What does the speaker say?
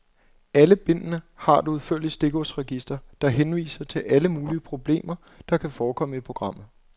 Alle bindene har et udførligt stikordsregister, der henviser til alle mulige problemer, der kan forekomme i programmet.